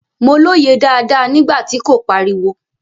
Mo lóye dáadáa nígbà tí kò pariwo.